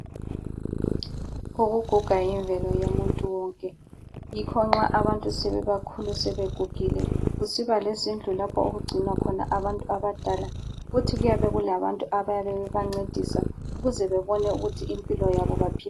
Ukuguga yimvelo yomuntu wonke yikho nxa abantu sebebakhulu sebegugile kusiba lezindlu lapho okugcinwa khona abantu abadala futhi kuyabe kulabantu abayabe bebancedisa ukuze bebone ukuthi impilo yabo baphila.